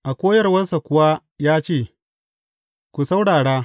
A koyarwarsa kuwa ya ce, Ku saurara!